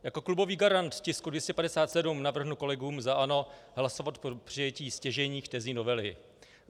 Jako klubový garant tisku 257 navrhnu kolegům za ANO hlasovat pro přijetí stěžejních tezí novely.